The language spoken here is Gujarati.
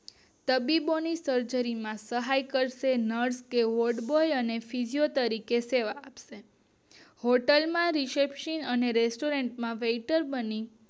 તબીબી ની સર્જરી માં સહાય કરશે નર્સે કે વોડ બોય અને સિસ્ટર તરીકે સેવા આપશે. હોટેલ ના રિસેપશન માં અને રેસ્ટોરેન્ટ માં વેઈટર બની